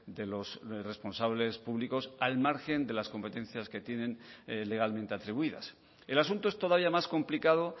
de los responsables públicos al margen de las competencias que tienen legalmente atribuidas el asunto es todavía más complicado